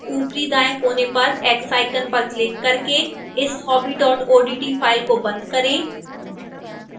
ऊपरी दाईं कोने पर स्थित x icon पर क्लिक करके इस hobby odt file को बंद करें